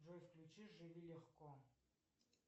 джой включи живи легко